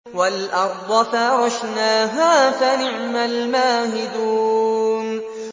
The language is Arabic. وَالْأَرْضَ فَرَشْنَاهَا فَنِعْمَ الْمَاهِدُونَ